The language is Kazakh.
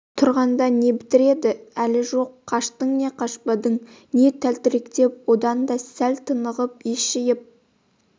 тұрғанда не бітіреді әлі жоқ қаштың не қашпадың не тәлтіректеп одан да сәл тынығып ес жиып